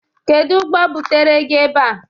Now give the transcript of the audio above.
Kedụ ụgbọ butere gị ebe a?